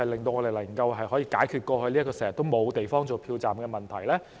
能否解決過去經常沒有地方作票站的問題？